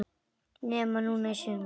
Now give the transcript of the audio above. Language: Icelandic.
Nema núna í sumar.